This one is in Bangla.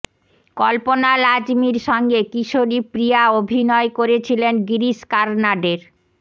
কল্পনা লাজমির সঙ্গে কিশোরী প্রিয়া অভিনয় করেছিলেন গিরীশ কারনাডের